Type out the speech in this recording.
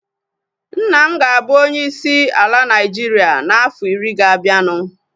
Nna m ga-abụ onye isi ala Naịjiria na afọ iri ga-abianu